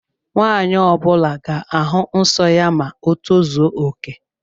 Nwanyi ọbula ga-ahu nsọ ya ma o tozuoke